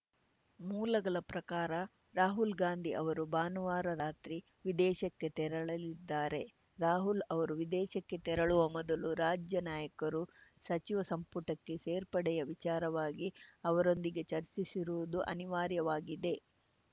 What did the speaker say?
ಮೂಲಗಳ ಪ್ರಕಾರ ರಾಹುಲ್‌ ಗಾಂಧಿ ಅವರು ಭಾನುವಾರ ರಾತ್ರಿ ವಿದೇಶಕ್ಕೆ ತೆರಳಲಿದ್ದಾರೆ ರಾಹುಲ್‌ ಅವರು ವಿದೇಶಕ್ಕೆ ತೆರಳುವ ಮೊದಲು ರಾಜ್ಯ ನಾಯಕರು ಸಚಿವ ಸಂಪುಟಕ್ಕೆ ಸೇರ್ಪಡೆಯ ವಿಚಾರವಾಗಿ ಅವರೊಂದಿಗೆ ಚರ್ಚಿಸುವುದು ಅನಿವಾರ್ಯವಾಗಿದೆ